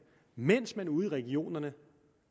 mens man ude i regionerne